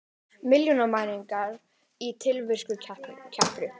Milljónamæringar í tilvistarkreppu